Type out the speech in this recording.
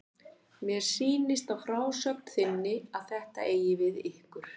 Mér sýnist á frásögn þinni að þetta eigi við um ykkur.